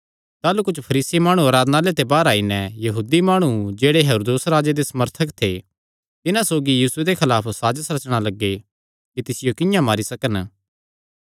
ताह़लू कुच्छ फरीसी माणु आराधनालय ते बाहर आई नैं यहूदी माणु जेह्ड़े हेरोदेस राजा दे समर्थक थे तिन्हां सौगी यीशुये दे खलाफ साजस रचणा लग्गे कि तिसियो किंआं मारी सकन